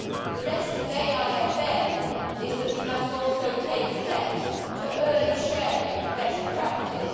The lesson of AIFM is that we must also take steps to early sharing of best practice.